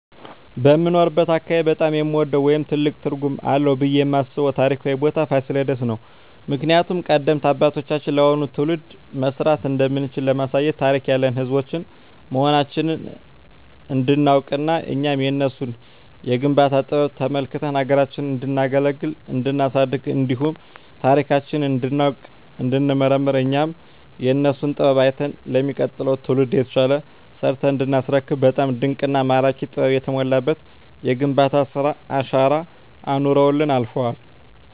በምኖርበት አካባቢ በጣም የምወደው ወይም ትልቅ ትርጉም አለዉ ብየ የማስበው ታሪካዊ ቦታ ፋሲለደስ ነው። ምክንያቱም ቀደምት አባቶቻችን ለአሁኑ ትውልድ መስራት እንደምንችል ለማሳየት ታሪክ ያለን ህዝቦች መሆናችንን እንዲናውቅና እኛም የነሱን የግንባታ ጥበብ ተመልክተን ሀገራችንን እንዲናገለግልና እንዲናሳድግ እንዲሁም ታሪካችንን እንዲናውቅ እንዲንመራመር እኛም የነሱን ጥበብ አይተን ለሚቀጥለው ትውልድ የተሻለ ሰርተን እንዲናስረክብ በጣም ድንቅና ማራኪ ጥበብ የተሞላበት የግንባታ ስራ አሻራ አኑረውልን አልፈዋል።